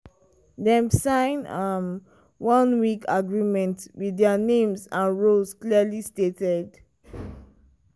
dem sign um one-week agreement with their names and roles clearly stated.